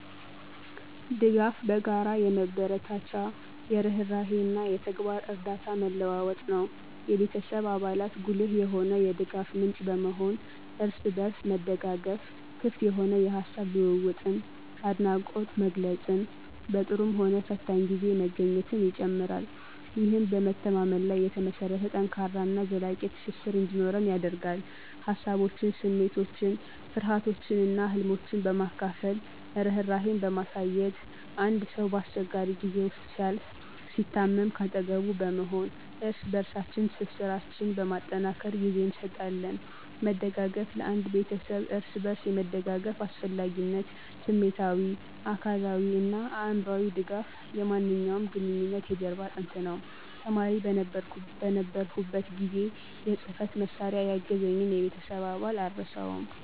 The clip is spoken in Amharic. ድጋፍ በጋራ የመበረታቻ፣ የርህራሄ እና የተግባር እርዳታ መለዋወጥ ነው። የቤተሰብ አባላት ጉልህ የሆነ የድጋፍ ምንጭ በመሆን፣ እርስ በርስ መደጋገፍ፣ ክፍት የሆነ የሐሳብ ልውውጥን፣ አድናቆት መግለፅን፣ በጥሩም ሆነ ፈታኝ ጊዜ መገኘትን ይጨምራል። ይህም በመተማመን ላይ የተመሰረተ ጠንካራ እና ዘላቂ ትስስር እንዲኖር ያደርጋል። ሃሳቦችን፣ ስሜቶችን፣ ፍርሃቶችን እና ህልሞችን በማካፈል፣ ርህራሄን በማሳየት፣ አንድ ሰው በአስቸጋሪ ጊዜ ውስጥ ሲያልፍ፣ ሲታመም ከአጠገቡ በመሆን እርስ በበርሳችን ትስስራችን በማጠናከር ጊዜ እንሰጣለን። መደጋገፍ ለአንድ ቤተሰብ እርስ በርስ የመደጋገፍ አስፈላጊነት ስሜታዊ፣ አካላዊ እና አእምሮአዊ ድጋፍ የማንኛውም ግንኙነት የጀርባ አጥንት ነው። ተማሪ በነበርሁበት ጊዜ የጽህፈት መሳሪያ ያገዘኝን የቤተሰብ አባል አልረሳውም።